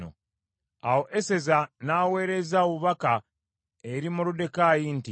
Awo Eseza n’aweereza obubaka eri Moluddekaayi nti,